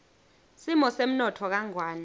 simo semnotfo kangwane